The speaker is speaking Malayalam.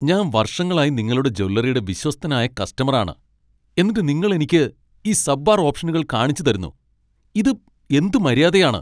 ഞാൻ വർഷങ്ങളായി നിങ്ങളുടെ ജ്വല്ലറിയുടെ വിശ്വസ്തനായ കസ്റ്റമർ ആണ്, എന്നിട്ട് നിങ്ങൾ എനിക്ക് ഈ സബ്പാർ ഓപ്ഷനുകൾ കാണിച്ച് തരുന്നു ?ഇത് എന്ത് മര്യാദയാണ്?